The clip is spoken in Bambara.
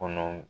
Kɔnɔ